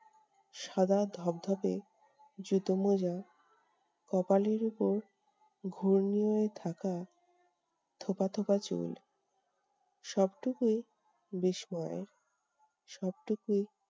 সাদা ধবধবে জুতো-মোজা, কপালের উপর ঘূর্ণি হয়ে থাকা থোকা থোকা চুল সবটুকুই বিস্ময়। সবটুকুই